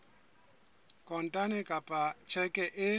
kontane kapa ka tjheke e